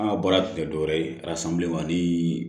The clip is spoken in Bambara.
An ka baara tun tɛ dɔwɛrɛ ye arasan bileman ni